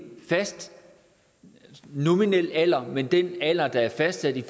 fast nominel alder men den alder der er fastsat i